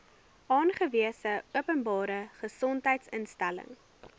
aangewese openbare gesondheidsinstelling